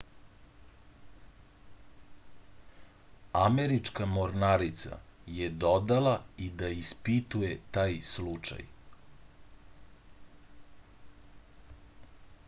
američka mornarica je dodala i da ispituje taj slučaj